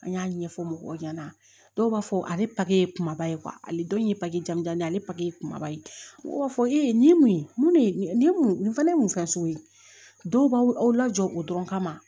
An y'a ɲɛfɔ mɔgɔw ɲɛna dɔw b'a fɔ ale ye kumaba ye ale dɔw ye jamujan ne ye ale kumaba ye ne b'a fɔ e ye nin mun ye mun ne ye nin mun nin fɛnɛ ye mun fɛn so ye dɔw b'aw lajɔ o dɔrɔn kama